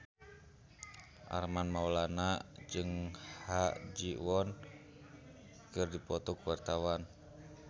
Armand Maulana jeung Ha Ji Won keur dipoto ku wartawan